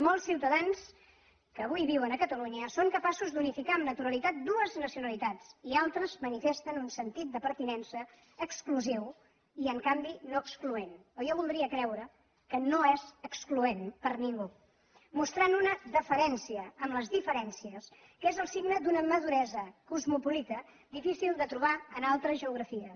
molts ciutadans que avui viuen a catalunya són capaços d’unificar amb naturalitat dues nacionalitats i altres manifesten un sentit de pertinença exclusiu i en canvi no excloent o jo voldria creure que no és excloent per a ningú mostrant una deferència amb les diferències que és el signe d’una maduresa cosmopolita difícil de trobar en altres geografies